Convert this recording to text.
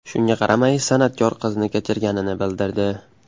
Shunga qaramay, san’atkor qizni kechirganini bildirdi.